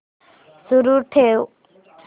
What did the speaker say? सुरू ठेव